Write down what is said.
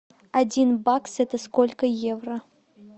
один бакс это сколько евро